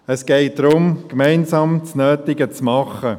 Es geht darum, gemeinsam das Nötige zu tun.